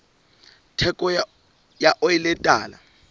theko ya oli e tala